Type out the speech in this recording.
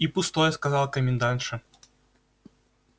и пустое сказала комендантша